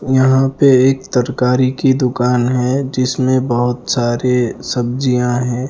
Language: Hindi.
यहां पे एक तरकारी की दुकान है जिसमें बहोत सारे सब्जियां हैं।